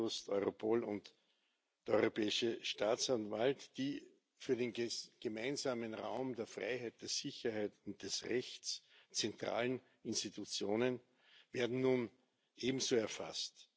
Eurojust, Europol und der Europäische Staatsanwalt die für den gemeinsamen Raum der Freiheit, der Sicherheit und des Rechts zentralen Institutionen werden nun ebenso erfasst.